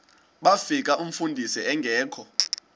bafika umfundisi engekho